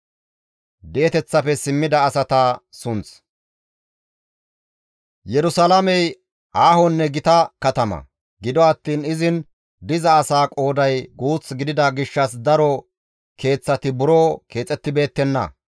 Yerusalaamey aahonne gita katama; gido attiin izin diza asaa qooday guuth gidida gishshas daro keeththati buro keexettibeettenna.